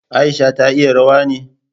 Aisha ta iya rawa ne?